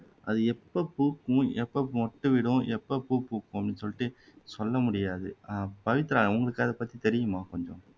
அது எப்போ பூக்கும் எப்போ மொட்டு விடும் எப்போ பூ பூக்கும்னு சொல்லிட்டு சொல்ல முடியாது அஹ் பவித்ரா உங்களுக்குஅதைப்பத்தி தெரியுமா கொஞ்சம்